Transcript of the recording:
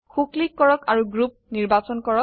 so click কৰক আৰু group নিৰ্বাচন কৰক